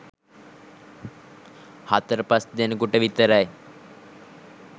හතර පස් දෙනෙකුට විතරයි